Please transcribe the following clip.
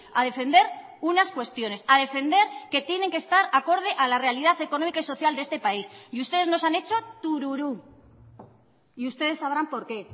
a defender unas cuestiones a defender que tienen que estar acorde a la realidad económica y social de este país y ustedes nos han hecho tururú y ustedes sabrán por qué